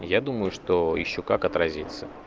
я думаю что ещё как отразится